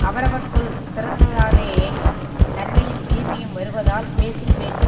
அவரவர் சொல் திறந்தாலேயே நன்மையும் தீமையும் வருவதால் பேசும் பேச்சில்